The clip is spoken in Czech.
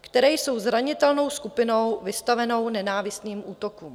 které jsou zranitelnou skupinou vystavenou nenávistným útokům.